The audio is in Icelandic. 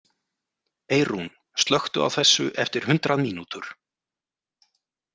Eirún, slökktu á þessu eftir hundrað mínútur.